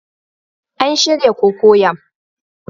An shirya cocoyam